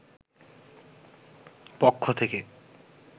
পক্ষ থেকে